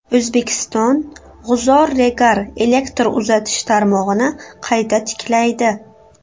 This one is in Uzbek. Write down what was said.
O‘zbekiston G‘uzor–Regar elektr uzatish tarmog‘ini qayta tiklaydi.